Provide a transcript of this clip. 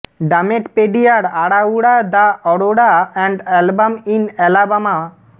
ডামেড পেডিয়ার আড়াউড়া the Aurora and album in Alabama